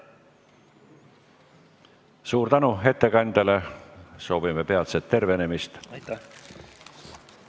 Suur tänu ettekandjale ja soovime peatset tervenemist!